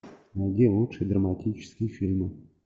найди лучшие драматические фильмы